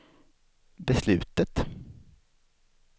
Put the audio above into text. beslutet